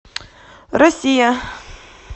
россия